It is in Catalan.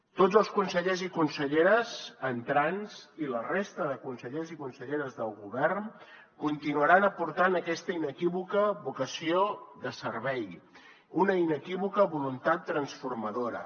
tots els consellers i conselleres entrants i la resta de consellers i conselleres del govern continuaran aportant aquesta inequívoca vocació de servei una inequívoca voluntat transformadora